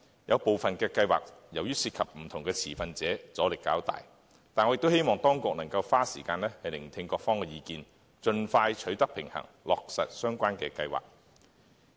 有部分計劃由於涉及不同的持份者，阻力較大，但我希望當局能夠花時間聆聽各方意見，盡快取得平衡，落實相關計劃。